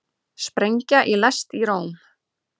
Sprengja í lest í Róm